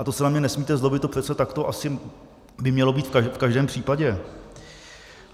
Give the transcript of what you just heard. A to se na mě nesmíte zlobit, to přece takto asi by mělo být v každém případě.